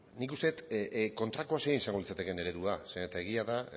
nik uste dut kontrako zein izango litzatekeen eredua zeren eta egia da